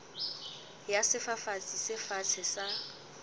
ya sefafatsi se fatshe sa